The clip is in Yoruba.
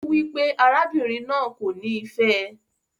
O wipe arábìnrin náà kò ni fẹ ẹ.